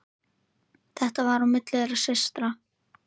Þetta var á milli þeirra systra.